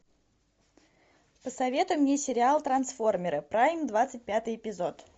посоветуй мне сериал трансформеры прайм двадцать пятый эпизод